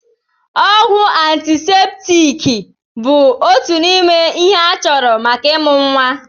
Ọgwụ antiseptiiki bụ òtù n'ime ihe a chọrọ maka ịmụ nwa.